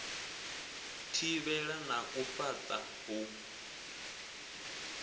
thivhela na u fhaṱa u